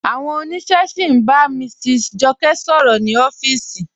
Awọn ọniṣẹ sí n bá Mrs Jọkẹ sọ̀rọ̀ ni ọ̀fíìsì.